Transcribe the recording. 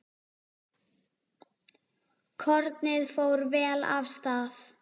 Kornið fór vel af stað.